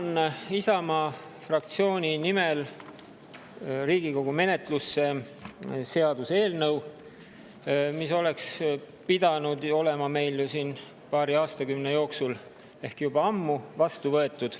Annan Isamaa fraktsiooni nimel Riigikogu menetlusse seaduseelnõu, mis oleks pidanud olema siin juba paari aastakümne eest ehk juba ammu vastu võetud.